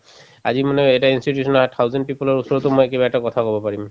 আজি মানে এটা institution ৰ অ thousand people ৰ ওচৰতো মই কিবা এটা কথা কব পাৰিম